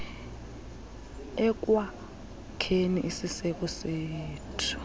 ekwakheni isiseko sethu